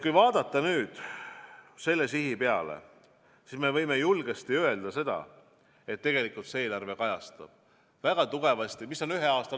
Kui vaadata selle sihi peale, siis võime julgesti öelda, et tegelikult see eelarve kajastab seda ühe aasta lõikes väga tugevasti.